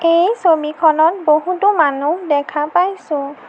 এই ছবিখনত বহুতো মানুহ দেখা পাইছোঁ।